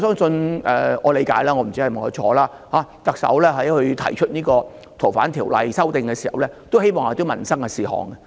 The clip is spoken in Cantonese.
據我理解——我不知道是否正確——特首在提出修訂《逃犯條例》的時候，也希望這會是一件民生事項。